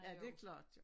Ja det klart jo